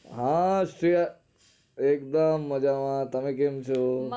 હા શ્રેયા એકદમ મજા માં તમે કેમ છો?